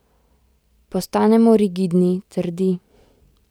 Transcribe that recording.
Postanemo rigidni, trdi.